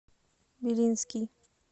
белинский